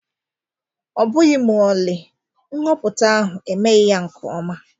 Ọbụghị ma ọlị, nhọpụta ahụ emeghị nke ọma